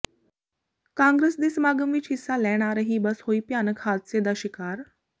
ਕਾਂਗਰਸ ਦੇ ਸਮਾਗਮ ਵਿੱਚ ਹਿੱਸਾ ਲੈਣ ਆ ਰਹੀ ਬੱਸ ਹੋਈ ਭਿਆਨਕ ਹਾਦਸੇ ਦਾ ਸ਼ਿਕਾਰ